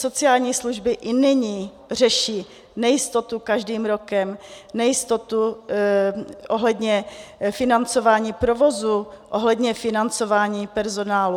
Sociální služby i nyní řeší nejistotu každým rokem, nejistotu ohledně financování provozu, ohledně financování personálu.